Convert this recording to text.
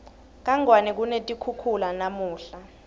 kangwane kunetikhukhula namunla